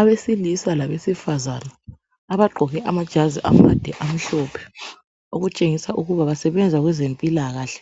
Abesilisa labesifazana abagqoke amajazi amade amhlophe okutsengisa ukuba basebenza kwezempilakahle